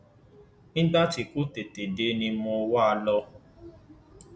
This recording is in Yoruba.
nígbà tí kò tètè dé ni mo wá a lọ